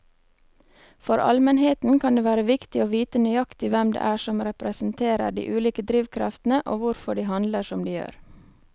For allmennheten kan det være viktig å vite nøyaktig hvem det er som representerer de ulike drivkreftene og hvorfor de handler som de gjør.